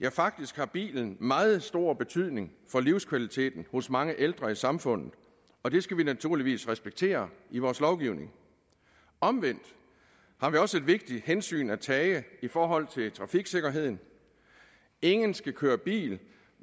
ja faktisk har bilen meget stor betydning for livskvaliteten hos mange ældre i samfundet og det skal vi naturligvis respektere i vores lovgivning omvendt har vi også et vigtigt hensyn at tage i forhold til trafiksikkerheden ingen skal køre bil